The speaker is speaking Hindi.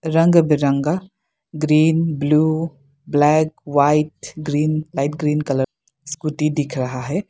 रंग बिरंगा green blue black white green light green colour scooty दिख रहा है।